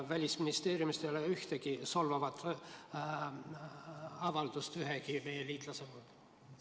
Välisministeeriumist ei ole ühtegi solvavat avaldust ühegi meie liitlase kohta.